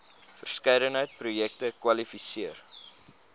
verskeidenheid projekte kwalifiseer